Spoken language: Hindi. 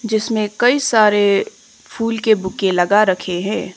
जिसमें कई सारे फूल के बुके लगा रखे है।